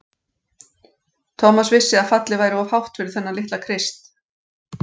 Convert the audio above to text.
Thomas vissi að fallið væri of hátt fyrir þennan litla Krist.